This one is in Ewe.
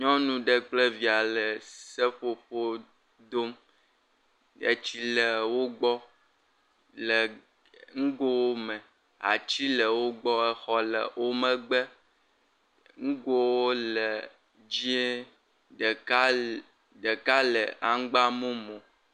Nyɔnu ɖe kple via le seƒoƒo dom nyuie, etsi le wo gbɔ le ee..nugo me, ati le wo gbɔ, exɔ le wo megbe. Nugo le dzɛ̃e, ɖeka le aŋgba mumu.